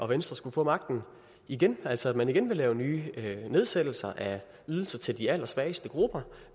venstre få magten igen altså at man igen vil lave nye nedsættelser af ydelser til de allersvageste grupper